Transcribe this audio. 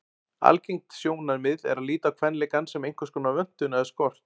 Algengt sjónarmið er að líta á kvenleikann sem einhverskonar vöntun eða skort.